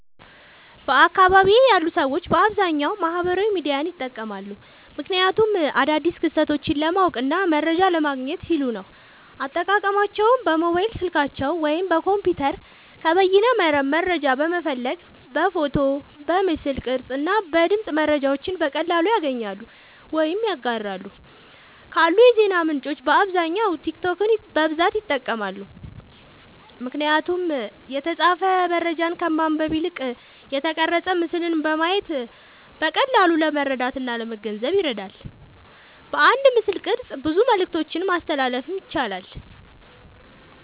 በአካባቢየ ያሉ ሰዎች በአብዛኛዉ ማህበራዊ ሚዲያዎችን ይጠቀማሉ። ምክንያቱም አዳዲስ ክስተቶችን ለማወቅና መረጃ ለማግኘት ሲሉ ነዉ። አጠቃቀማቸዉም በሞባይል ስልካቸዉ ወይም በኮምፒዉተር ከበይነመረብ መረጃን በመፈለግ በፎቶ፣ በምስል ቅርጽ እና በድምጽ መረጃዎችን በቀላሉ ያገኛሉ ወይም ያጋራሉ። ካሉ የዜና ምንጮች በአብዛኛዉ ቲክቶክን በብዛት ይጠቀማሉ። ምክንያቱም የተጻፈ መረጃን ከማንበብ ይልቅ የተቀረጸ ምስልን በማየት በቀላሉ ለመረዳትእና ለመገንዘብ ይረዳል። በአንድ ምስልቅርጽ ብዙ መልክቶችን ማስተላለፍ ያስችላል።